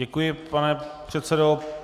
Děkuji, pane předsedo.